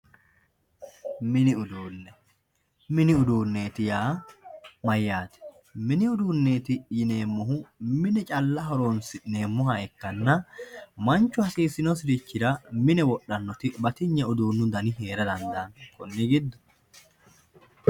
mini uduunne mini uduune yaa mayyaate mini uduuneeti yineemohu mine calla horonsi'neemoha ikkanna manchu hasiisinosirichira mine wodhanoti batinye uduunu dani heerara dandaanno.